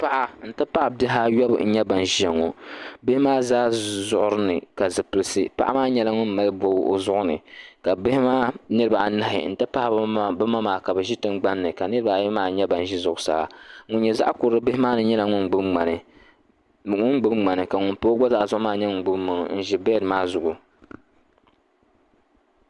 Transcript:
Paɣa n ti pahi bihi ayɔbu n nyɛ ban ʒiya ŋɔ bihi maa zaa zuɣiri ni ka zipilisi paɣa maa nyɛla ŋun mali bɔbgu o zuɣu ni ka ka bihi maa niriba anahi n ti pahi bi ma maa ka bi ʒi tingbani ka niriba ayi maa nyɛ ban ʒi zuɣusaa ŋun nyɛ zaɣakurli bihi maa ni nyɛla ŋun gbubi ŋmani ka ŋun pa o gba zaa zuɣu nyɛ ŋun gbubi ŋmani n ʒi bɛd maa zuɣu.